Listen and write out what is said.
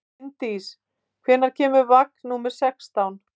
Linddís, hvenær kemur vagn númer sextán?